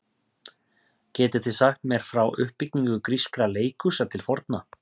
Getið þið sagt mér frá uppbyggingu grískra leikhúsa til forna?